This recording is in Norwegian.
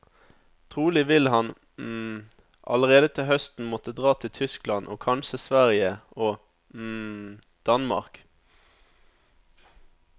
Trolig vil han allerede til høsten måtte dra til Tyskland og kanskje Sverige og Danmark.